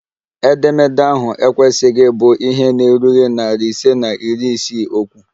Edemede ahụ ekwesịghị ịbụ ihe na-erughị narị ise na iri isii okwu!